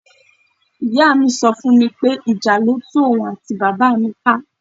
Ìyá mi so fún mi pé ìjà ló tú òun àti bàbá mi ká.